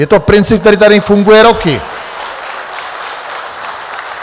Je to princip, který tady funguje roky.